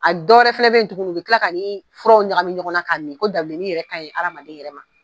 A dɔwɛrɛ fɛnɛ bɛ ye tuguni u bɛ kila k'an'i furaw ɲagami ɲɔgɔn na ka min ko dabileni yɛrɛ ka ɲi hadamaden yɛrɛ ma.